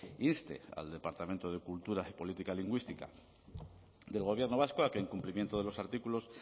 inste al departamento de cultura y política lingüística del gobierno vasco a que en cumplimiento de los artículos